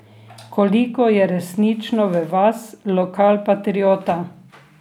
Koliko je resnično v vas lokalpatriota?